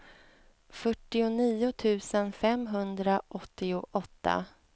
fyrtionio tusen femhundraåttioåtta